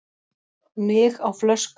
Mig á flösku